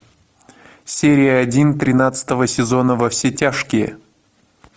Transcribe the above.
серия один тринадцатого сезона во все тяжкие